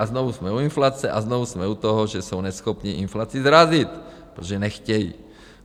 A znovu jsme u inflace a znovu jsme u toho, že jsou neschopní inflaci srazit, protože nechtějí.